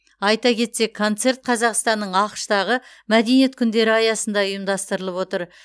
айта кетсек концерт қазақстанның ақш тағы мәдениет күндері аясында ұйымдастырылып отыр